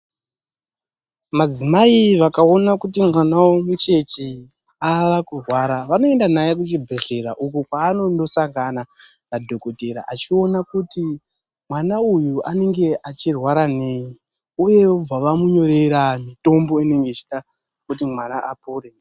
Madzimai vakaona kuti mwana vavo mucheche avakurwara, vanoenda naye kuchibhehlera uko kwaanonosangana nadhokodheya achiona kuti mwana uyu anenge achirwara nei uye, vobva vamunyorera mitombo inenge ichidiwa kuti mwana apore.